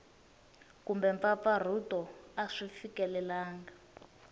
kumbe mpfampfarhuto a swi fikelelangi